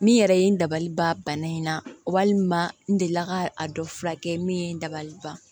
Min yɛrɛ ye n dabaliban bana in na o walima n delila ka a dɔ furakɛ min ye n dabali ban